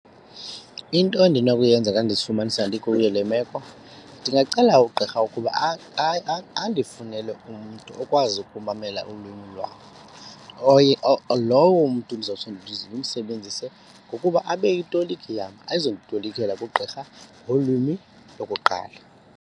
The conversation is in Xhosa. Into endinokuyenza xa ndizifumanisa ndikuyo le meko ndingacela ugqirha ukuba andifunele umntu okwazi ukumamela ulwimi lwabo. Lowo mntu ndizawuthi ndimsebenzise ngokuba abe yitoliki yam, azonditolikela kugqirha ngolwimi lokuqala.